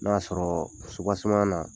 N'a y'a sɔrɔ supaseman na